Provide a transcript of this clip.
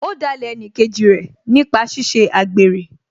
Ó dalẹ̀ ẹnìkejì rẹ̀ nípa ṣíṣe àgbèrè